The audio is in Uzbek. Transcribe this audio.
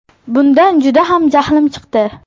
Bundan juda ham jahlim chiqdi.